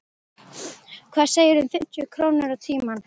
Hvað segirðu um fimmtíu krónur á tímann?